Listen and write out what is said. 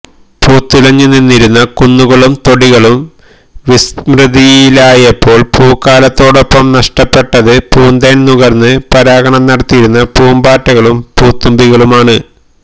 പൂത്തുലഞ്ഞ് നിന്നിരുന്ന കുന്നുകളും തൊടികളും വിസ്മൃതിയിലായപ്പോള് പൂക്കാലത്തോടൊപ്പം നഷ്ടപ്പെട്ടത് പൂന്തേന് നുകര്ന്ന് പരാഗണം നടത്തിയിരുന്ന പൂമ്പാറ്റകളും പൂതുമ്പികളുമാണ്